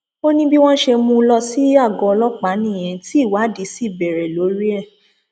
ó ní bí wọn ṣe mú un lọ sí àgọ ọlọpàá nìyẹn tí ìwádìí sì bẹrẹ lórí ẹ